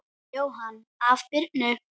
Jóhann: Af Birnu?